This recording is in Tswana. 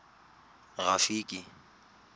rafiki